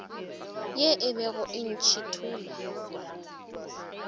ye e bego e ntšhithola